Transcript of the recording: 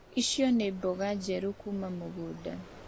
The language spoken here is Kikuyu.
Icio nĩ mboga njerũ kuuma mũgũnda.